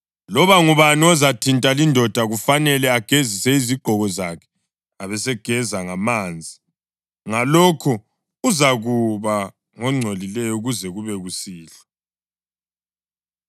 Loba ngubani ozathinta lindoda kufanele agezise izigqoko zakhe abesegeza ngamanzi, ngalokho uzakuba ngongcolileyo kuze kube kusihlwa.